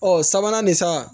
Ɔ sabanan nin san